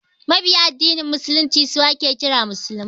Mabiya addinin musulunci su ake kira musulmai